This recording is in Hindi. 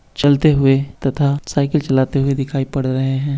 चलते हुए तथा साईकिल चलाते हुए दिखाई पड़ रहे हैं।